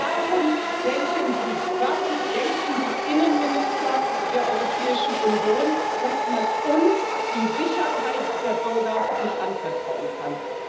Warum denken Sie, warum denken die Innenminister der Europäischen Union, dass man uns die Sicherheit der Bürger nicht anvertrauen kann?